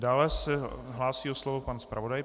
Dále se hlásí o slovo pan zpravodaj.